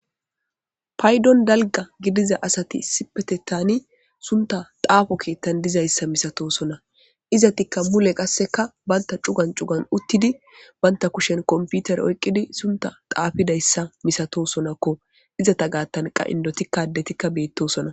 Paydon dalgga gidida asati issippeteththanni sunththa xaafo keeththan dizayssa misatosona. Izattikka mule qassekka bantta cugan cugan uttidi, bantta kushen kompitire oyqqidi sunththa xaafidayssa misatosonakko. Izatta gaaththan qa inddotikka addetikka beetoosona.